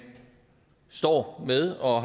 står med og